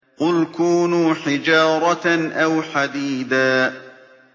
۞ قُلْ كُونُوا حِجَارَةً أَوْ حَدِيدًا